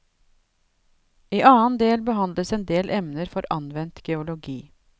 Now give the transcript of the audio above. I annen del behandles en del emner for anvendt geologi.